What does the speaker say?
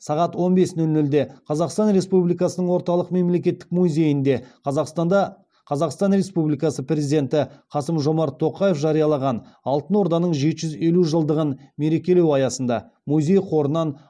сағат он бес нөл нөлде қазақстан республикасының орталық мемлекеттік музейінде қазақстан республикасы президенті қасым жомарт тоқаев жариялаған алтын орданың жеті жүз елу жылдығын мерекелеу аясында музей қорынан